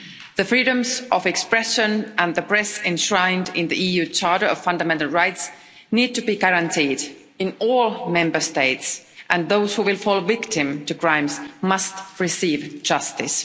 The freedoms of expression and the press enshrined in the EU Charter of Fundamental Rights need to be guaranteed in all Member States, and those who fall victim to crimes must receive justice.